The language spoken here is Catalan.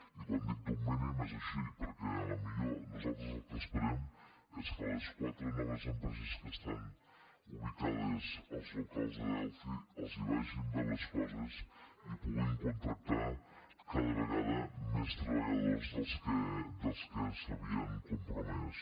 i quan dic d’un mínim és així perquè potser nosaltres el que esperem és que les quatre noves empreses que estan ubicades als locals de delphi els vagin bé les coses i pugin contractar cada vegada més treballadors dels que s’havien compromès